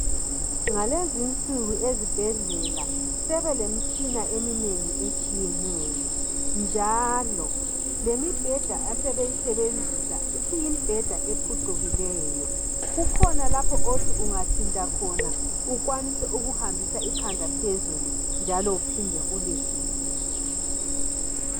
Ngalezi insuku ezibhendlela sebelemitshina eminengi eyehlukeneyo njalo lemibheda asebeyisebenzisa isiyimibheda ephucukileyo kukhona lapho othi ungathinta khona ukwanise ukuhambisa ikhanda phezulu njalo kuphinde ulehlise